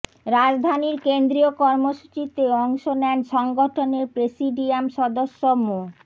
রাজধানীর কেন্দ্রীয় কর্মসূচিতে অংশ নেন সংগঠনের প্রেসিডিয়াম সদস্য মো